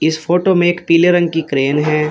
इस फोटो में एक पीले रंग कि क्रेन है।